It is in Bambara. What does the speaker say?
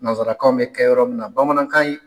Nanzsarakaw bɛ kɛ yɔrɔ min na bamanankan